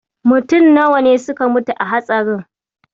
Mutum nawa ne suka mutu a hatsarin?